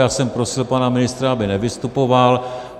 Já jsem prosil pana ministra, aby nevystupoval.